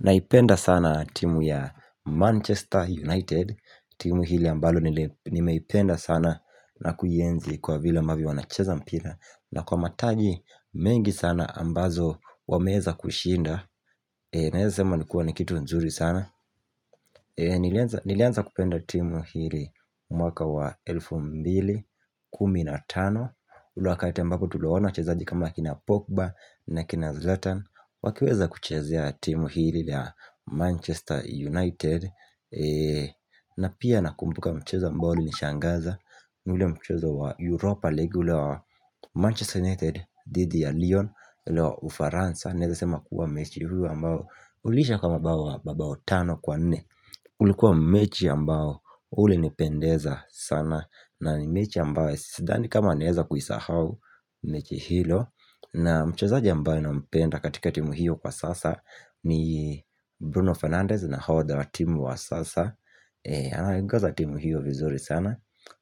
Naipenda sana timu ya Manchester United timu hili ambalo nimeipenda sana na kuienzi kwa vile ambavyo wanacheza mpira na kwa matagi mengi sana ambazo wameweza kushinda naweza sema ni kuwa ni kitu nzuri sana. Nilianza kupenda timu hili mwaka wa elfu mbili kumi na tano ule wakati ambapo tuliwaona wachezaji kama akina Pogba na akina Zlatan wakiweza kuchezea timu hili la Manchester United na pia nakumbuka mchezo ambao ulinishangaza. Ule mchezo wa Europa League ule wa Manchester United dhidi ya Lyon Ule wa ufaransa, naweza sema kuwa mechi huu ambao uliisha kwa mabao wa mabao tano kwa nne. Ulikuwa mechi ambao ulinipendeza sana na ni mechi ambayo sidhani kama naweza kuisahau mechi hilo na mchezaji ambaye nampenda katika timu hiyo kwa sasa ni Bruno Fernandez naodha wa timu wa sasa. Anaiongoza timu hiyo vizuri sana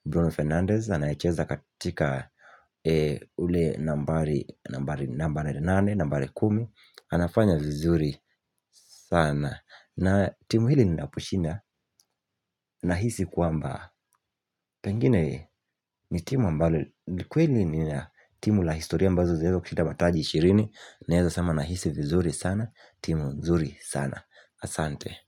Bruno Fernandez anayecheza katika ule nambari nambari nambari nambari nambari nambari nambari kumi anafanya vizuri sana na timu hili linaposhinda nahisi kwamba pengine ni timu ambalo ni kweli ni timu la historia ambazo zinaweza kishinda mataji ishirini naweza sema nahisi vizuri sana timu nzuri sana. Asante.